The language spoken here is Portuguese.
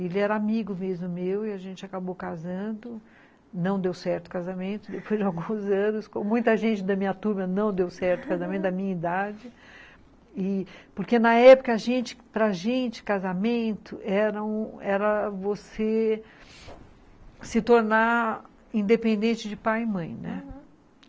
ele era amigo mesmo meu e a gente acabou casando não deu certo o casamento depois de alguns anos com muita gente da minha turma não deu certo o casamento da minha idade e porque na época a gente para gente casamento eram era era você se tornar independente de pai e mãe né? Aham.